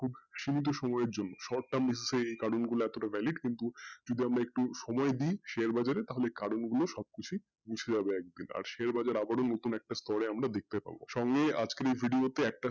খুব সীমিত সময়ের জন্য short term এ এই কারন গুলা valid কিন্তু শুধু আমরা যদি একটু সময় দেই share market এ তাহলে কারন গুলো সব গুলো সব কিছুই আর share bazar আবারও নতুন একটা স্তরে একটা দেখতে পাবো সব নিয়ে আজকের এই ভিডিওতে